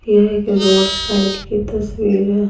यह एक road side की तस्वीर है।